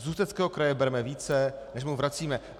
Z Ústeckého kraje bereme více, než mu vracíme.